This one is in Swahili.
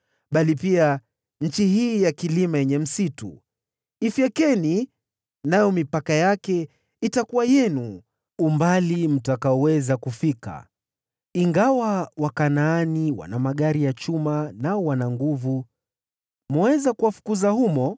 bali pia nchi hii ya kilima yenye msitu. Ifyekeni, nayo mipaka yake itakuwa yenu umbali mtakaoweza kufika. Ingawa Wakanaani wana magari ya chuma, nao wana nguvu, mwaweza kuwafukuza humo.”